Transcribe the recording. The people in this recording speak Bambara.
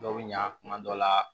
Dɔw bɛ ɲa kuma dɔw la